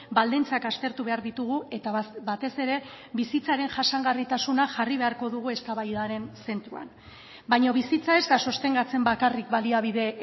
baldintzak aztertu behar ditugu eta batez ere bizitzaren jasangarritasuna jarri beharko dugu eztabaidaren zentroan baina bizitza ez da sostengatzen bakarrik baliabide